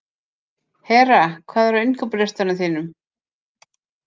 Hera, hvað er á innkaupalistanum mínum?